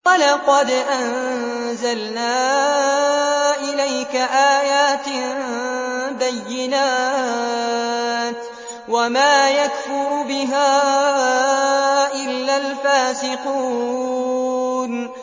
وَلَقَدْ أَنزَلْنَا إِلَيْكَ آيَاتٍ بَيِّنَاتٍ ۖ وَمَا يَكْفُرُ بِهَا إِلَّا الْفَاسِقُونَ